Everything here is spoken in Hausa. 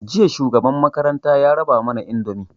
Jiya shugaban makaranta ya raba mana indomi